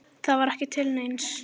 Það var ekki til neins.